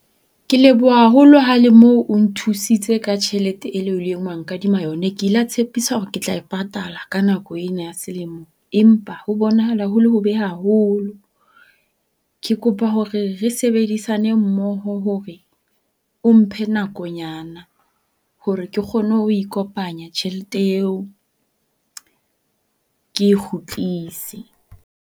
Ke leboha haholo ha le mo o nthusitse ka tjhelete e le o la wa nkadima yona. Ke ila tshepisa hore ke tla e patala ka nako ena ya selemo. Empa ho bonahala ho le hobe haholo. Ke kopa hore re sebedisane mmoho hore o mphe nakonyana hore ke kgone ho e kopanya tjhelete eo ke e kgutlise.